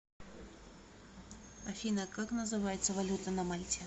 афина как называется валюта на мальте